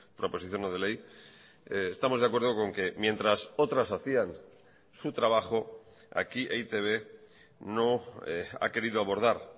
proposición no de ley estamos de acuerdo con que mientras otras hacían su trabajo aquí e i te be no ha querido abordar